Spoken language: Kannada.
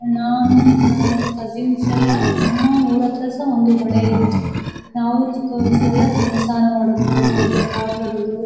ನಾನು ನನ್ನ ಕಸಿನ್ಸ್ ಎಲ್ಲ ನಮ್ಮ ಊರು ಹತ್ರ ಸಹ ಒಂದು ಹೊಳೆ ಇತ್ತು ನಾವು ಚಿಕ್ಕ ವಯಸ್ಸಲೆಲ್ಲ ಸ್ನಾನ ಮಾಡೋದು ಹೋಗಿ ಅಲ್ಲಿ ಆಟ ಆಡೋದು.